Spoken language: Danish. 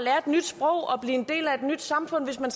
blive en del af et nyt samfund hvis man